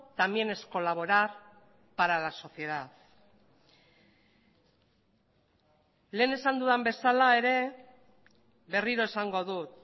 también es colaborar para la sociedad lehen esan duda bezala ere berriro esango dut